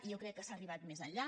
i jo crec que s’ha arribat més enllà